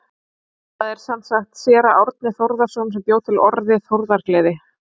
Það er sem sagt séra Árni Þórarinsson sem bjó til orðið þórðargleði.